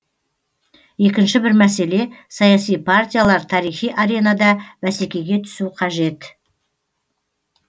екінші бір мәселе саяси партиялар тарихи аренада бәсекеге түсу қажет